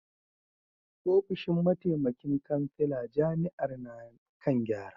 Ofishin mataimakin kansila jami’ar na kan gyara